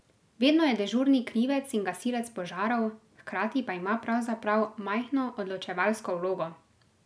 Vedno je dežurni krivec in gasilec požarov, hkrati pa ima pravzaprav majhno odločevalsko vlogo.